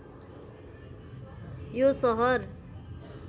यो सहर